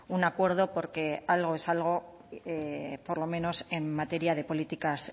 un acuerdo porque algo es algo por lo menos en materia de políticas